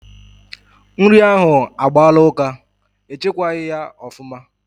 Nri ahụ agbaala ụka, e chekwaghi ya ofuma